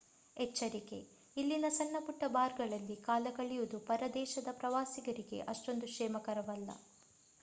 ಎಚ್ಚರಿಕೆ: ಇಲ್ಲಿನ ಸಣ್ಣ ಪುಟ್ಟ ಬಾರ್‌ಗಳಲ್ಲಿ ಕಾಲಕಳೆಯುವುದು ಪರ ದೇಶದ ಪ್ರವಾಸಿಗರಿಗೆ ಅಷ್ಟೊಂದು ಕ್ಷೇಮಕರವಲ್ಲ